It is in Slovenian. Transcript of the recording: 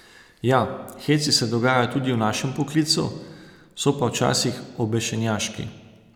Ja, heci se dogajajo tudi v našem poklicu, so pa včasih obešenjaški.